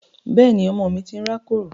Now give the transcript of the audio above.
Bẹ́ẹ̀ni, ọmọ mi ti ń rákòrò